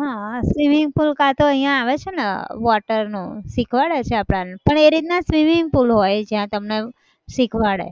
હા swimming pool કા તો અહીંયા આવે છે ને water નું શીખવાડે છે આપણને પણ એ રીતના swimming pool હોય જ્યાં તમને શીખવાડે